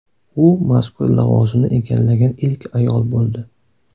U mazkur lavozimni egallagan ilk ayol bo‘ldi.